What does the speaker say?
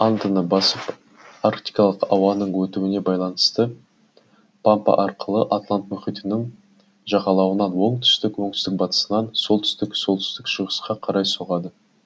андыны басып антарктикалық ауаның өтуіне байланысты папа арқылы атлант мұхитының жағалауынан оңтүстік оңтүстік батыстан солтүстік солтүстік шығысқа қарай соғады